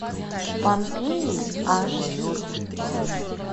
помпеи аш ди